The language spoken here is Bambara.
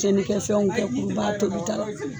Cɛnni kɛ fɛnw kɛ kurubaga tobi tɔ la.